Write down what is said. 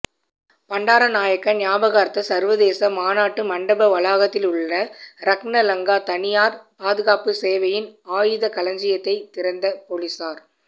பண்டாரநாயக்க ஞாபகார்த்த சர்வதேச மாநாட்டு மண்டப வளாகத்திலுள்ள றக்ன லங்கா தனியார் பாதுகாப்பு சேவையின் ஆயுதக் களஞ்சியத்தை திறந்த பொலிஸார்